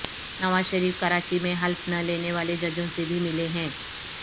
نواز شریف کراچی میں حلف نہ لینے والے ججوں سے بھی ملے ہیں